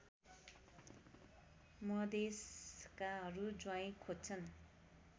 मधेशकाहरू ज्वाईँ खोज्छन्